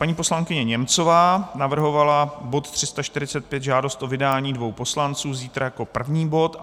Paní poslankyně Němcová navrhovala bod 345, žádost o vydání dvou poslanců, zítra jako první bod.